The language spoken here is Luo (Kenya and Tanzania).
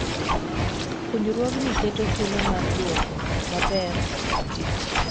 Puonjruogni keto thuolo mar duoko maber kar tich.